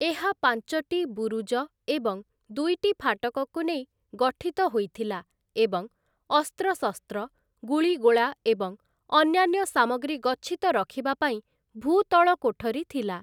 ଏହା ପାଞ୍ଚଟି ବୁରୁଜ ଏବଂ ଦୁଇଟି ଫାଟକକୁ ନେଇ ଗଠିତ ହୋଇ ଥିଲା ଏବଂ ଅସ୍ତ୍ରଶସ୍ତ୍ର, ଗୁଳିଗୋଳା ଏବଂ ଅନ୍ୟାନ୍ୟ ସାମଗ୍ରୀ ଗଚ୍ଛିତ ରଖିବା ପାଇଁ ଭୂତଳ କୋଠରୀ ଥିଲା ।